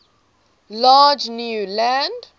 large new land